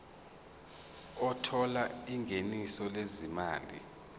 othola ingeniso lezimali